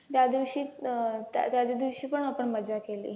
त्यादिवशी अं त्याचदिवशी पण आपण मजा केली.